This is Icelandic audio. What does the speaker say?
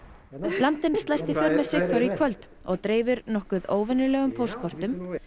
landinn slæst í för með Sigþóri í kvöld og dreifir nokkuð óvenjulegum póstkortum